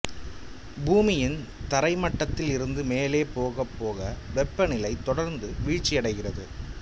பூமியின் தரைமட்டத்தில் இருந்து மேலே போகப்போக வெப்பநிலை தொடர்ந்து வீழ்ச்சியடைகிறது